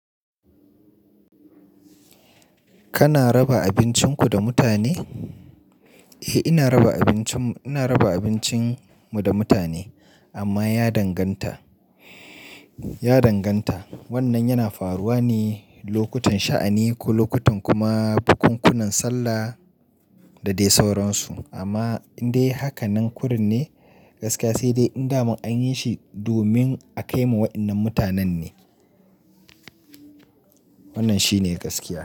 Kana raba abincinku da mutane? Eh ina raba abincin mu, ina raba abincin mu da mutane amma ya danganta, ya danganta. Wannan yana faruwa ne lokutan sha'ani ko lokutan kuma bukunkunan sallah da dai sauransu. Amma in dai haka nan kurin ne gaskiya sai dai in damu an yi shi domin a kaimu wa'innan mutanen ne. Wannan shi ne gaskiya.